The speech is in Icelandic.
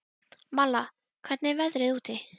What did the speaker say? Malla, hvernig er veðrið úti?